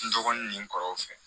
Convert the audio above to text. N dɔgɔnin nin kɔrɔw fɛ